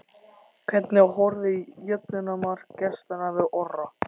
Hvernig horfði jöfnunarmark gestanna við Orra?